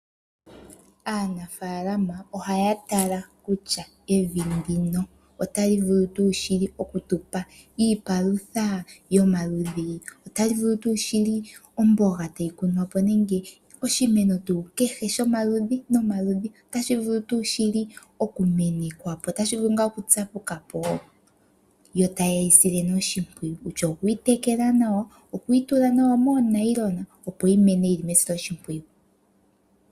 Aanafaalama ohaya tala kutya evi ndino otali vulu tuu shili okutupa iipalutha yomaludhi, otali vulu tuu shili omboga tayi kunwa po nenge oshimeno tuu kehe shomaludhi nomaludhi otashi vulu tuu shili okumenekwa po, otashi vulu ngaa okutsapuka po yo taye yi sile nee oshimpwiyu kutya okuyi tekela nawa, okuyi tula nawa moonayilona opo yi mene yili mesiloshimpwiyu.